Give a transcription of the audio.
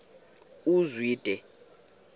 uzwide